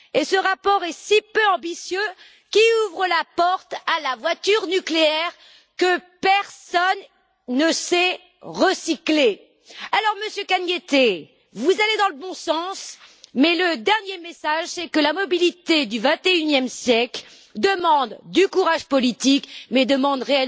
Ce rapport est si peu ambitieux qu'il ouvre la porte à la voiture nucléaire, que personne ne sait recycler. Monsieur Cañete, vous allez dans le bon sens, mais le dernier message, c'est que la mobilité du XXIe siècle exige du courage politique et,